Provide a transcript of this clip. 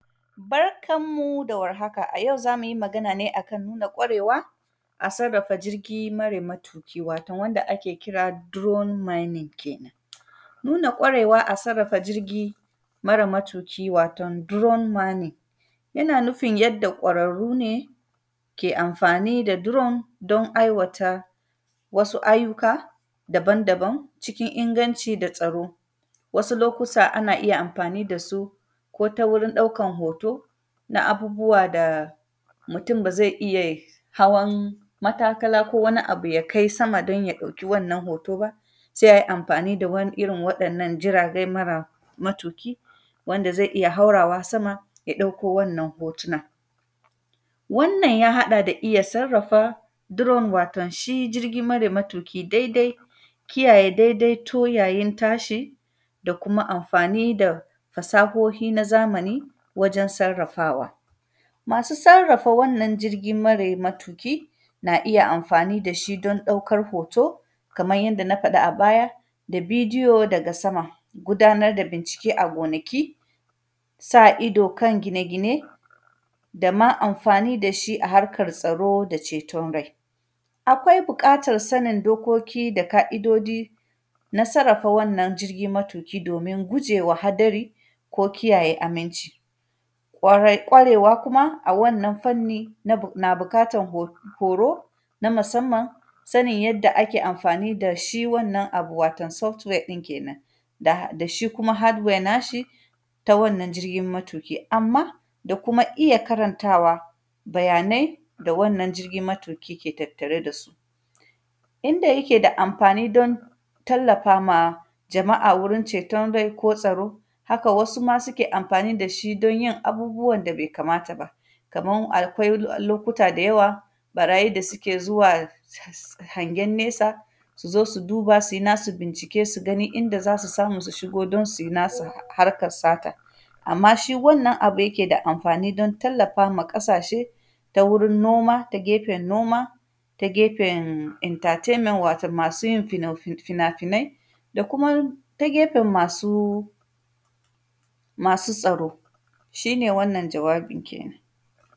A sarrafa jirgi mare matuki, watoon wanda ake kira “drone mining” kenan. Nuna ƙwarewa a sarrafa jirgi, mara matuki, waton “dron mining”, yana nufin yanda ƙwararru ne ke amfani da “drone”, don aiwata wasu ayyuka daban-daban cikin inganci da tsaro. Wasu lokusa ana iya amfani da su ko ta wurin ɗaukan hoto, na abubuwa da mutun ba ze iya ye hawan matakala ko wani abu ya kai sama, don ya ɗauki wannan hoto ba. Se ai amfani da wan; irin waɗannan jiragai mara matuki, wanda zai iya haurawa sama ya ɗauko wannan hotunan. Wannan, ya haɗa da iya sarrafa “drone”, wato shi jirgi mara matuki daidai, kiyaye daidaito yayin tashi da kuma amfani da fasahohi na zamani wajen sarrafawa. Masu sarrafa wannan jirgi mare matuki, na iya amfani da shi don ɗaukar hoto, kaman yanda na faɗa a baya, da bidiyo daga sama. Gudanar da bincike a gonaki, sa ido kan gine-gine da ma amfani da shi a harkar tsaro da ceton rai. Akwai bikatan sanin dokoki da ka’idodi, na sarrafa wannan jirgi matuki, domin guje wa hadari ko kiyaye aminci. Ƙwarai, ƙwarewa kuma, a wannan fanni, na; na bikatan ho; horo na masamman, sanin yanda ake amfani da shi wannan abu, waton “software”ɗin kenan. Ga; da shi kuma “hardware” nashi ta wannan jirgin matuki, amma da kuma iya karantawa bayanai da wannan jirgi matuki ke tattare da su. Yanda yake da amfani don tallafa ma jama’a wurin ceton rai ko tsaro, haka wasu ma sike amfani da shi don yin abubuwan da be kamata ba. Kaman akwai lokuta da yawa, ƃarayi da sike zuwa sh;s;h, hangen nesa, su zo su duba, si nasu bincike, su gani inda za su samu su shigo don si nasu harkar sata. Amma, shi wannan abu yake da amfani don tallafa ma ƙasashe, ta wurin noma, ta gefen noma, ta gefen “entertainment”, wato masu yin fino; fi; fina-finai da kuma ta gefen masu, masu tsaro. Shi ne wannan, jawabin kenan.